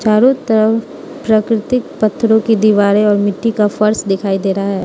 चारों तरफ प्रकृतिक पत्थरों की दीवारें और मिट्टी का फर्श दिखाई दे रहा है।